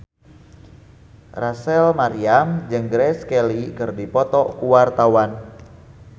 Rachel Maryam jeung Grace Kelly keur dipoto ku wartawan